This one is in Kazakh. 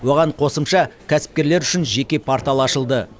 оған қосымша кәсіпкерлер үшін жеке портал ашылды